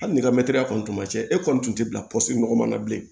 Hali n'i ka kɔni tun ma ca e kɔni tun tɛ bila pɔsi nɔgɔma na bilen